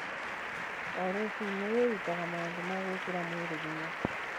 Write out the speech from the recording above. O rũcinĩ wĩrutaga maũndũ ma gwĩkĩra mwĩrĩ hinya.